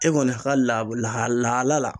E kɔni ka labo laha lahala la